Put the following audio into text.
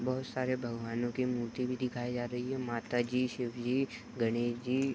बहुत सारे भगवानो के मूर्ति भी दिखाई जा रही है। माता जी शिव जी गणेश जी --